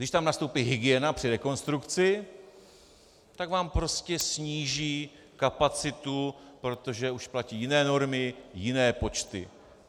Když tam nastoupí hygiena při rekonstrukci, tak vám prostě sníží kapacitu, protože už platí jiné normy, jiné počty.